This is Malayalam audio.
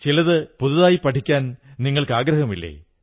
ചിലതു പുതിയതായി പഠിക്കാൻ നിങ്ങൾക്കാഗ്രഹമില്ലേ